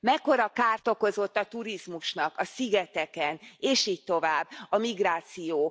Mekkora kárt okozott a turizmusnak a szigeteken és így tovább a migráció?